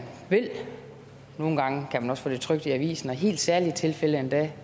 vil nogle gange kan man også få det trykt i avisen og i helt særlige tilfælde endda